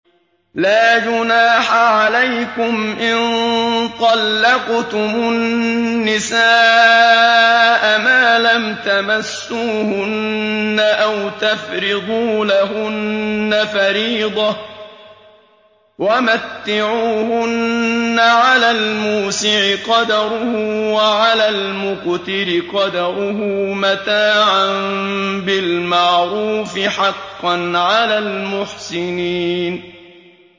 لَّا جُنَاحَ عَلَيْكُمْ إِن طَلَّقْتُمُ النِّسَاءَ مَا لَمْ تَمَسُّوهُنَّ أَوْ تَفْرِضُوا لَهُنَّ فَرِيضَةً ۚ وَمَتِّعُوهُنَّ عَلَى الْمُوسِعِ قَدَرُهُ وَعَلَى الْمُقْتِرِ قَدَرُهُ مَتَاعًا بِالْمَعْرُوفِ ۖ حَقًّا عَلَى الْمُحْسِنِينَ